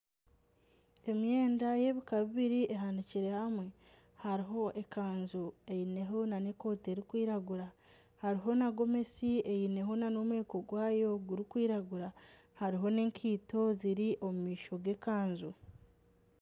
Emyenda y'ebika bibiri ehanikire hamwe hariho ekanju eineho n'ekooti erikwiragura hariho na gomesi eineho n'omweko gwayo gurikwiragura hariho n'ekaito ziri omu maisho g'ekanju.